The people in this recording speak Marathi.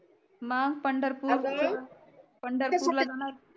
मंग पंढरपूर पंढरपूर ला जाणार